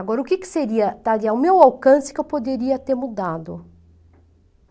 Agora, o que que seria, estaria ao meu alcance que eu poderia ter mudado?